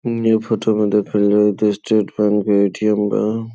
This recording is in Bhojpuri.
न्यू फोटो में देखल जाय त स्टेट बैंक के ए.टी.एम. बा।